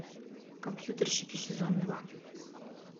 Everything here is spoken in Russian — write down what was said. компьютерщики сезон два